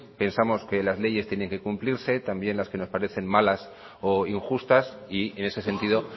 pesamos que las leyes tiene que cumplirse también las que nos parecen malas o injustas y en ese sentido